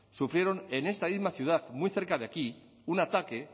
sufrieron en esta misma ciudad muy cerca de aquí un ataque